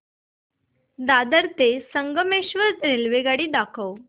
दादर ते संगमेश्वर रेल्वेगाडी दाखव